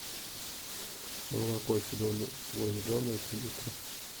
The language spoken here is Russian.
молоко село зеленое три литра